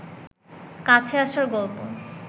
কাছে আসার গল্প